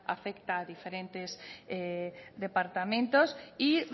afecta a diferentes departamentos y